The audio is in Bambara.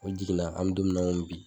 O jiginna an be don min na ŋomi bi